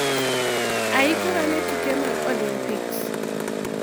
Aikora ne tuke mag Olympics